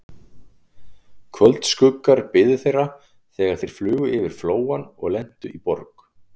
Kvöldskuggar biðu þeirra, þegar þeir flugu yfir Flóann og lentu í Borg